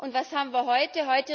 Und was haben wir heute?